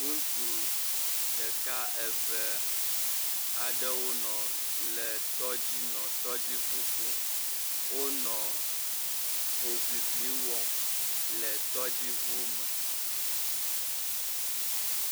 Ŋutsu ɖeka, eve aɖewo nɔ le tɔdzi, nɔ tɔdziŋu kum, wonɔ hohŋiŋli wɔm le tɔdziŋu me.